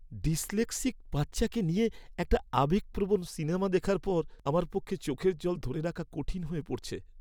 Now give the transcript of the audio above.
Dyslexic বাচ্চাকে নিয়ে একটা আবেগপ্রবণ সিনেমা দেখার পর আমার পক্ষে চোখের জল ধরে রাখা কঠিন হয়ে পড়ছে।